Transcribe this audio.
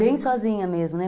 Bem sozinha mesmo, né?